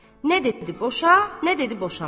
Nə dedi boşa, nə dedi boşama.